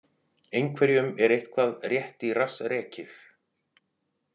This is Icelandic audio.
Einhverjum er eitthvað rétt í rass rekið